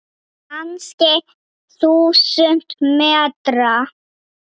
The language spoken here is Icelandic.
Kannski þúsund metra?